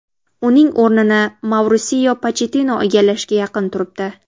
Uning o‘rnini Maurisio Pochettino egallashga yaqin turibdi.